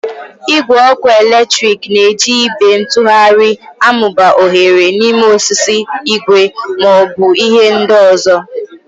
Igwe ọkụ eletrik na-eji ibe ntugharị amụba oghere n'ime osisi, igwe, ma ọ bụ ihe ndị ọzọ.